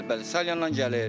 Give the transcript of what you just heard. Bəli, bəli, Salyandan gəlir.